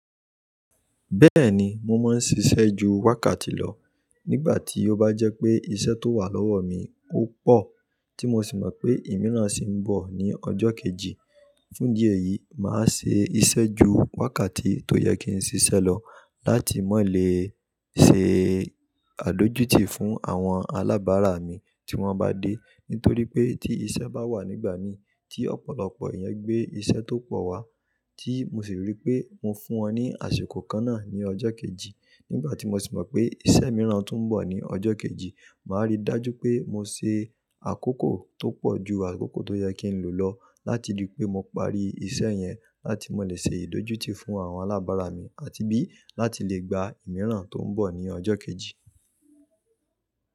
Bẹ́ẹ̀ni, mo máa ń ṣiṣẹ́ ju wákàtí lọ nígbà tí ó bá jẹ́ pé iṣẹ́ tó wà lọ́wọ́ mi ó pọ̀ tí mo sì mọ̀ pé ìmíràn sì ń bọ̀ ní ọjọ́ kejì. Fúndí ẹ̀yìí máa ṣe iṣẹ́ ju wákàtí tó yẹ kí n ṣiṣẹ́ lọ láti mọ́ lè ṣe àdójútì fún àwọn alábàárà mi tí wọ́n bá dé. Nítorí pé tí iṣẹ́ bá wà nígbà mi tí ọ̀pọ̀lọpọ̀ èèyàn gbé iṣẹ́ tó pọ̀ wá tí mo sì rí pé mo fún wọn ní àsìkò kan náà ní ọjọ́ kejì. Nígbà tí mo sì mọ̀ pé iṣẹ́ mìíràn tún ń bọ̀ ní ọjọ́ kejì, màá rí dájú pé mo ṣe àkókò tó pọ̀ ju àkókò tó yẹ kí n lò lọ láti rí pé mo parí iṣẹ́ yẹn láti mọ́ lè ṣe ìdójútì fún àwọn alábàárà mi àti bí láti lè gba ìmíràn tó ń bọ̀ ní ọjọ́ kejì.